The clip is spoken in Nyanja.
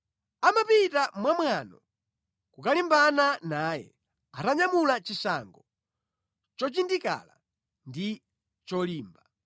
Amapita mwa mwano kukalimbana naye atanyamula chishango chochindikala ndi cholimba.